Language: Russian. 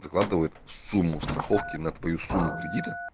закладывает сумму страховки на твою сумму кредита